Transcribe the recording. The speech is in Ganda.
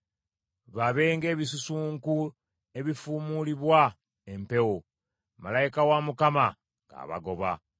Babe ng’ebisusunku ebifuumuulibwa empewo, malayika wa Mukama ng’abagoba.